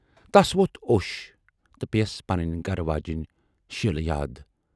"تَس ووتھ اوش تہٕ پییِس پنٕنۍ گَرٕ واجینۍ شیٖلہٕ ؔیاد۔